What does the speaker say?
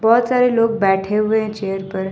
बहुत सारे लोग बैठे हुए हैं चेयर पर ।